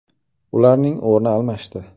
Ularning o‘rni almashdi.